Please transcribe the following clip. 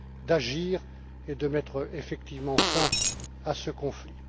d'agir et de mettre effectivement fin à ce conflit.